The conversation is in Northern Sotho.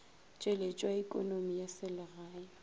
tšweletšo ya ekonomi ya selegae